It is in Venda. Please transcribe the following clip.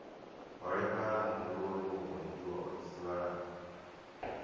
holefhala muhumbuloni mupondiwa o dzidzivhala